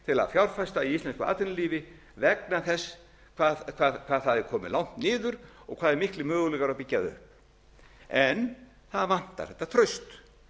að fjárfesta í íslensku atvinnulífi vegna þess hvað það er komið langt niður og hvað eru miklir möguleikar á að byggja það upp en það vantar þetta traust